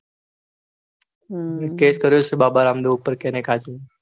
case કર્યો છે બાબા રામદેવ ઉપર